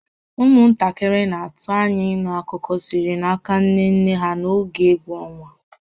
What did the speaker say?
Ụmụntakịrị na-atụ anya ịnụ akụkọ sitere n'aka nne nne ha n'oge egwu ọnwa